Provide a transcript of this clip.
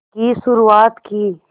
की शुरुआत की